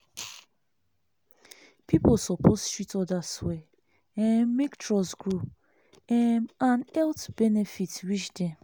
people suppose treat others well um make trust grow um and health benefit reach dem.